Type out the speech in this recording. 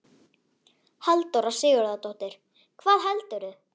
Halldóra Sigurðardóttir: Hvað heldurðu?